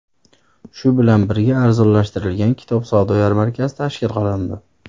Shu bilan birga arzonlashtirilgan kitob savdo-yarmarkasi tashkil qilindi.